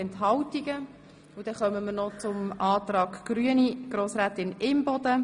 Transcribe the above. Nun kommen wir noch zum Antrag Imboden.